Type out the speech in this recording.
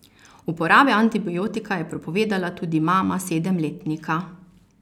Uporabe antibiotika je prepovedala tudi mama sedemletnika.